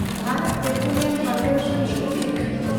ᱵᱷᱮᱱᱰᱚᱛ petroleum corporation limited